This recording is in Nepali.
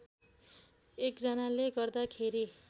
एक जनाले गर्दाखेरि